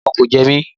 Rárá, ẹ̀fọn kò jẹmí